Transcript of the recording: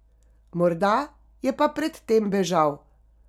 Morda je pa pred tem bežal.